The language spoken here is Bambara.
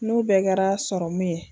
N'o bɛɛ kɛra sɔrɔmu ye